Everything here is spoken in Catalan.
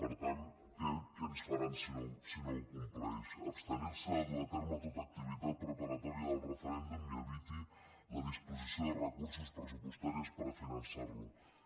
per tant què ens faran si no ho compleix abstenir se de dur a terme tota activitat preparatòria del referèndum i eviti la disposició de recursos pressupostaris per a finançar per a finançar lo